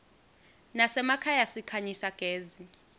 nasemakhaya sikhanyisa gezi